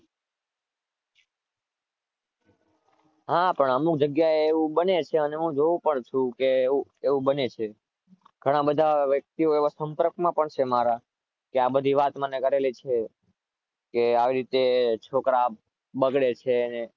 હા પણ અમુક જગ્યા એ એવું બને છે અને હું જોવું પણ ચુ એવું બને છે ઘણા બધા એવા વ્યક્તિઓ સંપર્ક માં છે મારા આ બધી વાત મને કરેલી છે કે આવી રીતે છોકરા બગડે છે